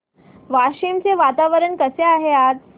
वाशिम चे वातावरण कसे आहे आज